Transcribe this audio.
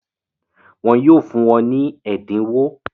Wọ́n yóò fún ọ ní ẹ̀dínwó?